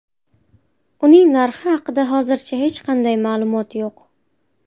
Uning narxi haqida hozircha hech qanday ma’lumot yo‘q.